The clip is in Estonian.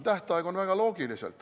Tähtaeg on seal väga loogiliselt.